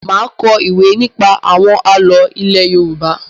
Má a kọ ìwé nípa àwọn àlọ́ ilé Yorùbá.